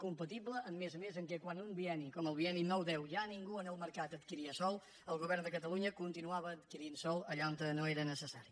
compatible a més a més amb el fet que quan en un bienni com el bienni nou deu ja ningú en el mercat adquiria sòl el govern de catalunya continuava adquirint sòl allà on no era necessari